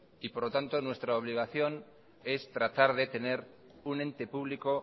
y por lo tanto nuestra obligación es tratar de tener un ente público